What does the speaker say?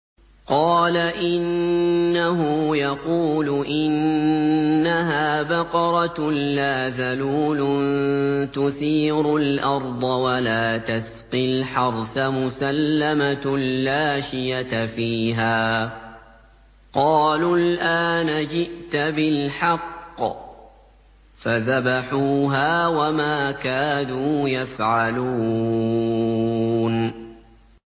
قَالَ إِنَّهُ يَقُولُ إِنَّهَا بَقَرَةٌ لَّا ذَلُولٌ تُثِيرُ الْأَرْضَ وَلَا تَسْقِي الْحَرْثَ مُسَلَّمَةٌ لَّا شِيَةَ فِيهَا ۚ قَالُوا الْآنَ جِئْتَ بِالْحَقِّ ۚ فَذَبَحُوهَا وَمَا كَادُوا يَفْعَلُونَ